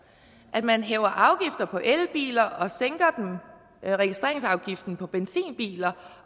at man hæver afgifter på elbiler og sænker registreringsafgiften på benzinbiler